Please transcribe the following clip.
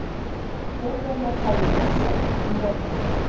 Þjóðverjar hefja umsátur um borgina